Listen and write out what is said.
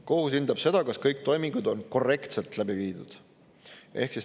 Kohus hindab seda, kas kõik toimingud on korrektselt läbi viidud.